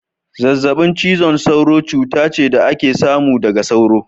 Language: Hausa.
Zazzabin cizon sauro cuta ce da ake samu daga sauro.